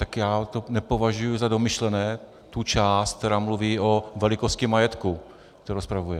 Tak já to nepovažuji za domyšlené, tu část, která mluví o velikosti majetku, kterou spravuje.